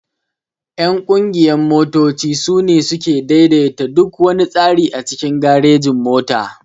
Ƴan ƙungiyan motoci sune suke ɗaiɗaita duk wana tsari a cikin garejin-mota.